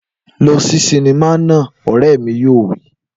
Lọ sí sinimá náà! Ọ̀rẹ́ mi yóò wí.